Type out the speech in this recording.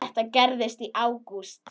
Þetta gerðist í ágúst.